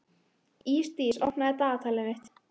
Ísdís, opnaðu dagatalið mitt.